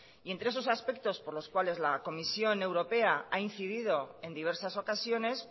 y entre esos aspectos por los cuales la comisión europea ha incidido en diversas ocasiones